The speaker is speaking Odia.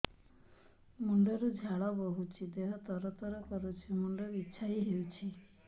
ମୁଣ୍ଡ ରୁ ଝାଳ ବହୁଛି ଦେହ ତର ତର କରୁଛି ମୁଣ୍ଡ ବିଞ୍ଛାଇ ହଉଛି